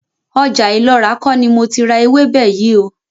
Ọjà Ìlọra kó ni mo ti ra ewébè yìí óò.